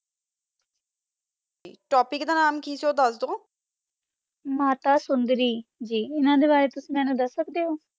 topic ਦਾ ਨਾਮੇ ਕੀ ਸੀ ਓਹੋ ਦਸ ਦੋ ਮਾਤਾ ਸੋੰਦਾਰੀ ਅਨਾ ਦਾ ਬਾਰਾ ਮੇਨੋ ਕੁਛ ਦਸ ਸਕਦਾ ਓਹੋ